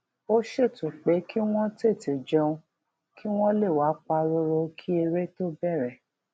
ó ṣètò pé kí wón tètè jẹun kí wón lè wà pa róró kí eré tó bèrè